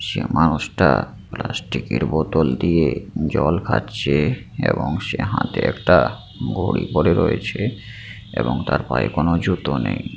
সে মানুষটা প্লাস্টিক এর বোতল দিয়ে জল খাচ্ছেএবং সে হাতে একটা ঘড়ি পড়ে রয়েছেএবং তার পায়ে কোন জুতো নেই ।